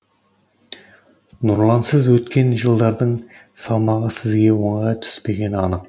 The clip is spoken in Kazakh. нұрлансыз өткен жылдардың салмағы сізге оңайға түспегені анық